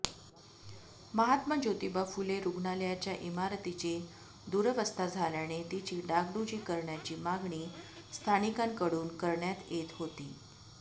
महात्मा ज्योतिबा फुले रुग्णालयाच्या इमारतीची दुरवस्था झाल्याने तिची डागडुजी करण्याची मागणी स्थानिकांकडून करण्यात येत होती